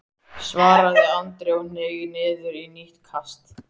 svaraði Andri og hneig niður í nýtt kast.